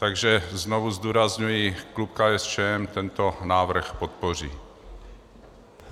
Takže znovu zdůrazňuji, klub KSČM tento návrh podpoří.